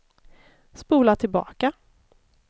spola tillbaka